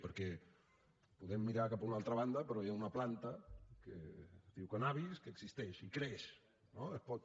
perquè podem mirar cap a una altra banda però hi ha una planta que es diu cànnabis que existeix i creix no es pot